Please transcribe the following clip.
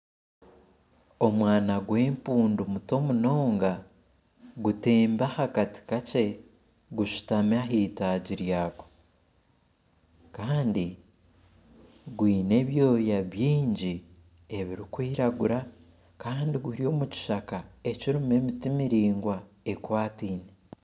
Omwana gw'empundu muto munonga gutembi aha kati kakye gushutami aha itaagi ryako kandi gwine ebyoya bingi ebirikwiraguura kandi guri omu kishaka ekirimu emiti miraingwa ekwataine